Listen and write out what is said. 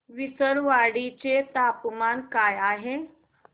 विसरवाडी चे तापमान काय आहे